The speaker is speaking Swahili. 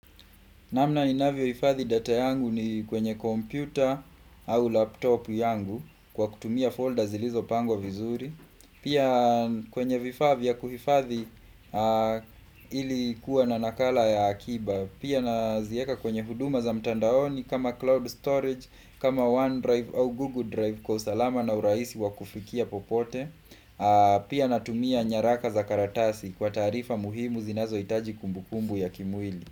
Namna ninavyohifadhi data yangu ni kwenye computer au laptop yangu kwa kutumia folder zilizopangwa vizuri. Pia kwenye vifaa vya kuhifadhi ili kuwa na nakala ya akiba. Pia naziweka kwenye huduma za mtandaoni kama cloud storage, kama OneDrive au Google Drive kwa usalama na urahisi wa kufikia popote. Pia natumia nyaraka za karatasi kwa taarifa muhimu zinazohitaji kumbukumbu ya kimwili.